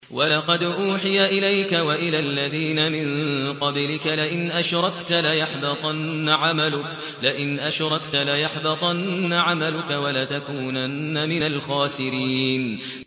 وَلَقَدْ أُوحِيَ إِلَيْكَ وَإِلَى الَّذِينَ مِن قَبْلِكَ لَئِنْ أَشْرَكْتَ لَيَحْبَطَنَّ عَمَلُكَ وَلَتَكُونَنَّ مِنَ الْخَاسِرِينَ